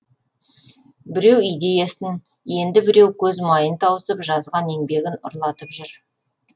біреу идеясын енді біреу көз майын тауысып жазған еңбегін ұрлатып жүр